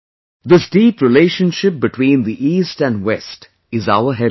This deep relationship between the East and West is our heritage